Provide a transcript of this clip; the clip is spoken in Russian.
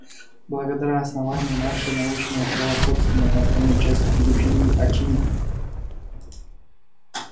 благодаря основанию наше научное превосходство над остальной частью периферии очевидно